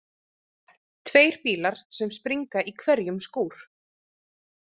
Tveir bílar sem springa í hverjum skúr.